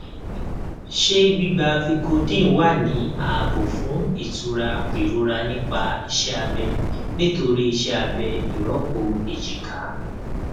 ṣé gbígba vicodin wà ní ààbò fún ìtura ìrora nítorí iṣẹ abẹ nítorí iṣẹ abẹ ìrọpò èjìká